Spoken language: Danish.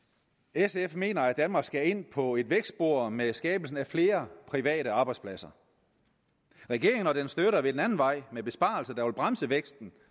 sf mener at danmark skal ind på et vækstspor med skabelsen af flere private arbejdspladser regeringen og dens støtter vil den anden vej med besparelser der vil bremse væksten